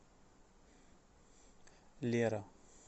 лера